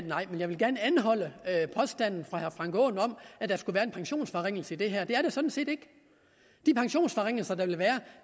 nej men jeg vil gerne anholde påstanden fra herre frank aaen om at der skulle være en pensionsforringelse i det her det er der sådan set ikke de pensionsforringelser der vil være